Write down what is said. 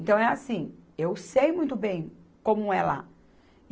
Então, é assim, eu sei muito bem como é lá.